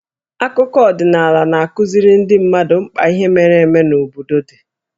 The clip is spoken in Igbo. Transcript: Akụkọ ọdịnaala na-akụziri ndị mmadụ mkpa ihe mere eme n'obodo dị.